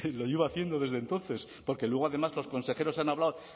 lo llevo haciendo desde entonces porque luego además los consejeros han hablado